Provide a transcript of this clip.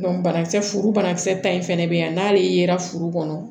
banakisɛ banakisɛ ta in fɛnɛ bɛ yan n'ale yera furu kɔnɔ